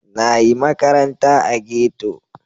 Na yi makaranta a ghetto.